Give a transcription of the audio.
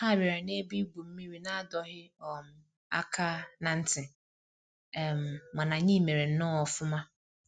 Ha bịara na ebe igwu mmiri n'adọghị um aka na ntị, um mana anyị mere nnọọ ọfụma